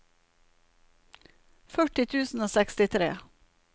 førti tusen og sekstitre